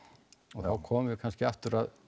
og þá komum við kannski aftur að